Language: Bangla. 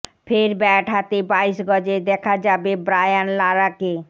ফের ব্যাট হাতে বাইশ গজে দেখা যাবে ব্রায়ান লারাকে